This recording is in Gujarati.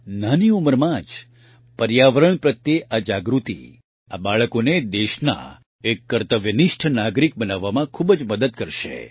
નાની ઉંમરમાં જ પર્યાવરણ પ્રત્યે આ જાગૃતિ આ બાળકોને દેશના એક કર્તવ્યનિષ્ઠ નાગરિક બનાવવામાં ખૂબ જ મદદ કરશે